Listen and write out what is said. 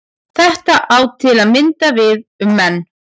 Þetta á til að mynda við um menn.